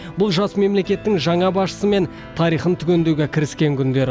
бұл жас мемлекеттің жаңа басшысымен тарихын түгендеуге кіріскен күндері